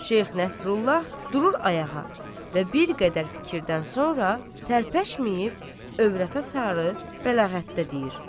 Şeyx Nəsrullah durur ayağa və bir qədər fikirdən sonra tərpəşməyib övrətə sarı bəlağətdə deyir: